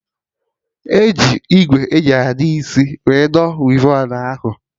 Aga eji ìgwè eji adọ isi wee dọ wivon ahụ